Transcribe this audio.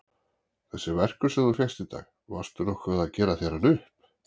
Þessi verkur sem þú fékkst í dag. varstu nokkuð að gera þér hann upp?